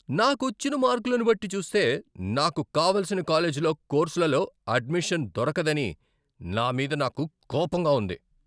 నాకొచ్చిన మార్కులను బట్టి చూస్తే నాకు కావలసిన కాలేజీలో, కోర్సులలో అడ్మిషన్ దొరకదని నా మీద నాకు కోపంగా ఉంది.